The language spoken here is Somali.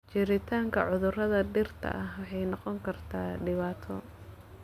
Jiritaanka cudurrada dhirta waxay noqon kartaa dhibaato.